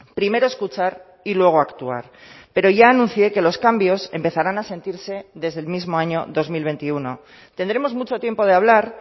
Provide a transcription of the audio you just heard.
primero escuchar y luego actuar pero ya anuncié que los cambios empezarán a sentirse desde el mismo año dos mil veintiuno tendremos mucho tiempo de hablar